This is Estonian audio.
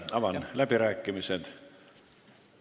Avan läbirääkimised.